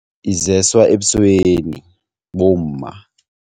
Izeswa ebusweni bomma.